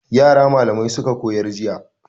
Yara malamai suka koyar jiya.